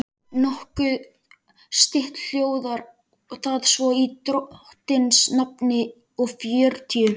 Nokkuð stytt hljóðar það svo í drottins nafni og fjörutíu